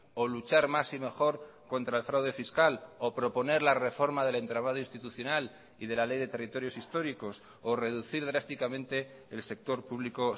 o luchar más y mejor contra el fraude fiscal o proponer la reforma del entramado institucional y de la ley de territorios históricos o reducir drásticamente el sector público